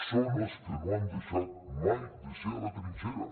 són els que no han deixat mai de ser a la trinxera